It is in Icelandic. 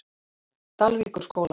Dalvíkurskóla